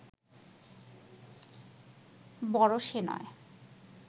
বড় সে নয়